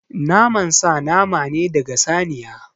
Naman sa nama ne daga saniya.